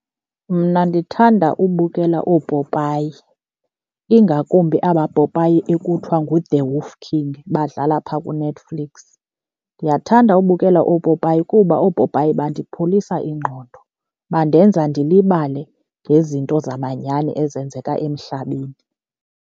Mna ndithanda ubukela oopopayi, ingakumbi abapopayi ekuthiwa nguThe Wolf King badlala phaa kuNetflix. Ndiyathanda ubukela oopopayi kuba oopopayi bandipholisa ingqondo, bandenza ndilibale ngezinto zamanyani ezenzeka emhlabeni.